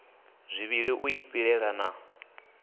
zwivhili u i pilela na